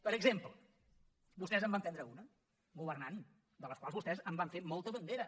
per exemple vostès en van prendre una governant de la qual vostès van fer molta bandera